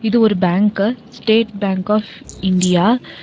இது ஒரு bank state bank of India.